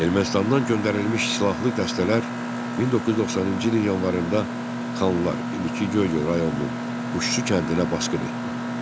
Ermənistandan göndərilmiş silahlı dəstələr 1990-cı ilin yanvarında Xanlar indiki Göygöl rayonunun Quşçu kəndinə basqın etdi.